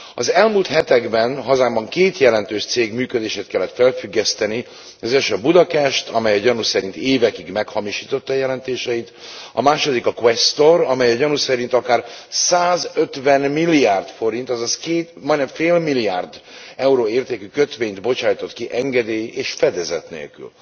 Az elmúlt hetekben hazámban két jelentős cég működését kellett felfüggeszteni az első a Buda Cash, amely a gyanú szerint évekig meghamisította jelentéseit, a második a Questor, amely a gyanú szerint akár 150 milliárd forint, azaz majdnem fél milliárd euró értékű kötvényt bocsájtott ki engedély és fedezet nélkül.